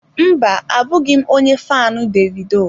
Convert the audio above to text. Mba, abụghị m onye faanụ Davido.